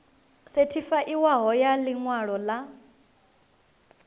sethifaiwaho ya ḽi ṅwalo ḽa